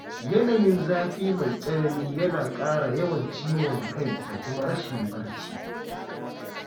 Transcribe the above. Yanayin zafi mai tsanani yana ƙara yawan ciwon kai da kuma rashin barci.